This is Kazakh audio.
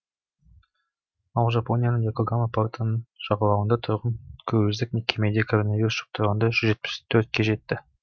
ал жапонияның и окогама портының жағалауында тұрған круиздік кемеде коронавирус жұқтырғандар жүз жетпіс төртке жетті